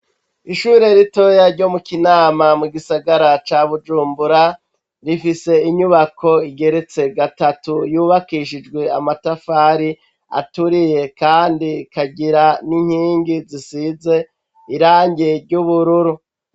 Ishure ritoya ryo mu Kinama, mu gisagara ca Bujumbura, rifise inyubako igeretse gatatu, yubakishijwe amatafari aturiye, kandi ikagira n'inkingi, zisize irangi ry'ubururu.